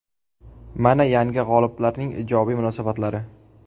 Mana yangi g‘oliblarning ijobiy munosabatlari.